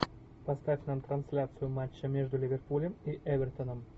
поставь нам трансляцию матча между ливерпулем и эвертоном